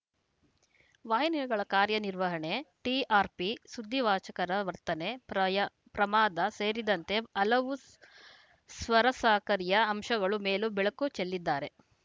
ವಾಹಿನಿಗಳ ಕಾರ್ಯ ನಿರ್ವಹಣೆ ಟಿಆರ್‌ಪಿ ಸುದ್ದಿ ವಾಚಕರ ವರ್ತನೆ ಪ್ರಯಾ ಪ್ರಮಾದ ಸೇರಿದಂತೆ ಹಲವು ಸ್ವರಸಾಕರ್ಯ ಅಂಶಗಳ ಮೇಲೂ ಬೆಳಕು ಚೆಲ್ಲಿದ್ದಾರೆ